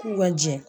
U ka jɛ